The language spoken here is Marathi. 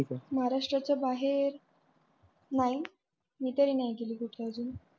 महाराष्ट्रच्या बाहेर नाही मी तरी नाही गेली कुठे अजून.